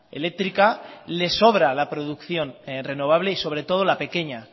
eléctrica les sobra la producción renovable y sobre todo la pequeña